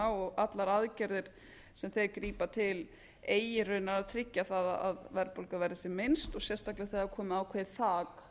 og allar aðgerðir sem þeir grípa til eigi raunar að tryggja það að verðbólga verði sem minnst og sérstaklega þegar er komið ákveðið